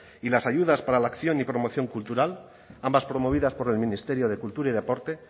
y las ayudas para la acción y promoción cultural ambas promovidas por el ministerio de cultura y deporte